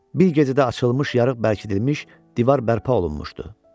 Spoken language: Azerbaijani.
Bir gecədə açılmış yarıq bərkidilmiş, divar bərpa olunmuşdu.